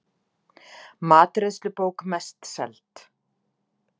Matreiðslubók mest seld